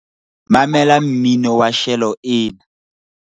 mamela mmino wa shelo ena